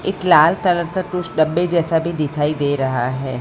एक लाल कलर का तुछ डब्बे जैसा भी दिखाई दे रहा है।